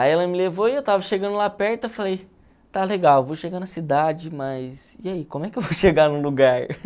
Aí ela me levou e eu estava chegando lá perto, eu falei, está legal, vou chegar na cidade, mas e aí, como é que eu vou chegar no lugar?